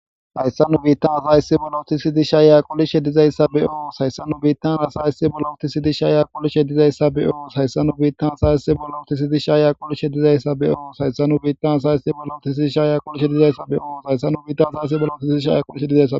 hayssannu biittan asayssi bollo tisidisha yaquli sheddizayssa be7oo hayssannu biittan asayysi bollo tisidisha yaqulish sheddizayssa be7oo sayssannu biittan asayissi bollo tisidisha yaqulis sheddizayssa be7oo hayssannu biittan asayssi bollo tisidisha yaqulisheddizayssa be7oo sayssannu biittan asayasi bollo tixidisha yaqul heddizaysa